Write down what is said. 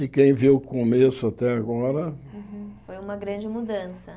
E quem viu o começo até agora... Foi uma grande mudança.